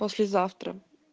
послезавтра